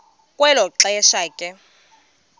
kwelo xesha ke